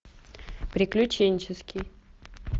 приключенческий